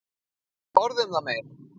Ekki orð um það meir.